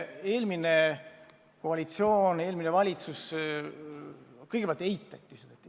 Eelmine koalitsioon kõigepealt eitas probleemi.